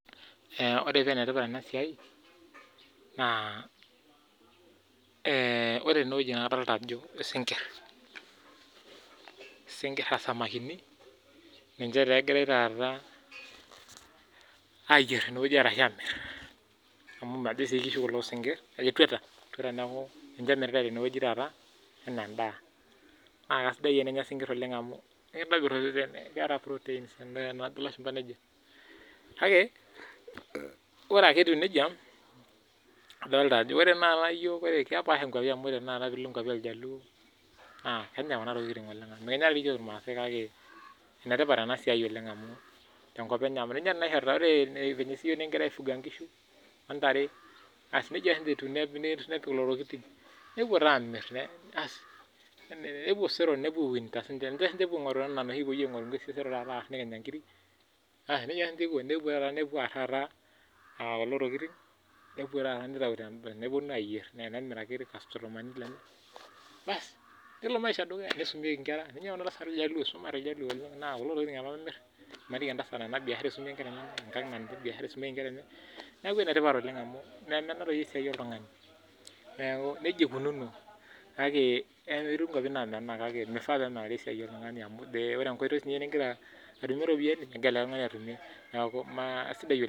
Ore paa enetipat ena siai naa, ore enewueji nadolita ajo isinkirr. Isinkirr aa isamakini ninche taa egirai taata aayierr tenewueji ashu aamirr amu majo sii kishu kulo sinkirr, ajo etwata, etwata neeku ninche emiritae tenewueji tenakata enaa endaa. Naa sidai eninya isinkirr amu keeta Proteins enaa enajo ilashumpa. Kake ore ake etiu nija, adolita ajo ore tenakataa iyiok kepaasha nkwapi amu ore tenakata piilo nkwapi oljaluo naa keenyai kuna tokiting oleng, mekinya dii iyiolo irmaasai kake enetipat ena siai oleng tenkop enye amu ore dii iyiok enaa vile nekigira aaifuga nkishu ontare, asi neija siininche etiu. Nepik lelo tokiting, nepwo taa aamirr asi nepwo osero, nepwo siininche aing'uro enaa vile siyiok neking'oru inkishu, nekinyanya nkiri, nija siininche iko kulo tokiting, nepwo taata aitau, nepwonu aayierr, nemirakini irkastomani lenye, bas nelo maisha dukuya, neisumieki inkera, isumate iljaluo oleng naa kulo emirr, maniki entasat naa ena biashara eesita peesumie nkera enye. Neeku enetipat oleng, memenaaroyu esiai oltung'ani neeku nija ikununo. Neeku kake etii nkwapi naamenaa kake mifaa nimenaa esiai oltung'ani amu ore enkoitoi nigira atumie iropiyiani, megira ele tung'ani atumie neeku aisidai oleng